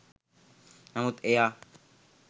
නමුත් එයා